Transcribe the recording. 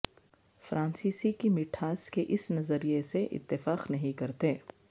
فرانسیسی کی مٹھاس کے اس نظریے سے اتفاق نہیں کرتے